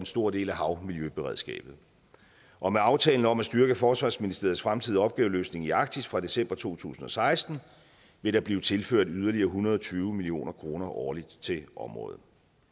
stor del af havmiljøberedskabet og med aftalen om at styrke forsvarsministeriets fremtidige opgaveløsning i arktis fra december to tusind og seksten vil der blive tilført yderligere en hundrede og tyve million kroner årligt til området